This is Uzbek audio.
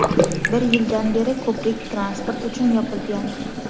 Bir yildan beri ko‘prik transport uchun yopilgan.